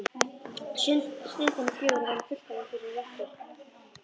Stundin er fögur og væri fullkomin fyrir rettu.